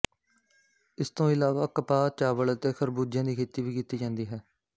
ਇਸ ਤੋਂ ਇਲਾਵਾ ਕਪਾਹ ਚਾਵਲ ਅਤੇ ਖ਼ਰਬੂਜ਼ਿਆਂ ਦੀ ਖੇਤੀ ਵੀ ਕੀਤੀ ਜਾਂਦੀ ਹੈ